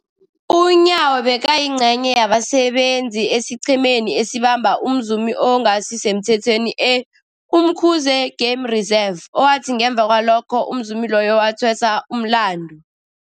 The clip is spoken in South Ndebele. UNyawo bekayingcenye yabasebenza esiqhemeni esabamba umzumi ongasisemthethweni e-Umkhuze Game Reserve, owathi ngemva kwalokho umzumi loyo wathweswa umlandu.